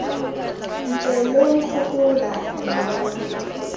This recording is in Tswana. ntse lo nkgopola mma yo